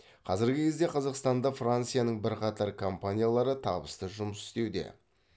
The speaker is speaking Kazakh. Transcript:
қазіргі кезде қазақстанда францияның бірқатар компаниялары табысты жұмыс істеуде